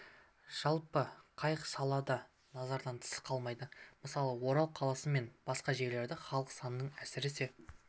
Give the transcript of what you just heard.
жалпы қай сала да назардан тыс қалмайды мысалы орал қаласы мен басқа жерлерде халық санының әсіресе